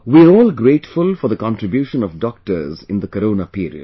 We are all grateful for the contribution of doctors in the Corona period